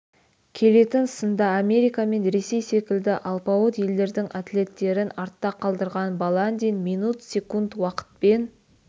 келетін сында америка мен ресей секілді алпауыт елдердің атлеттерін артта қалдырған баландин минут секунд уақытпен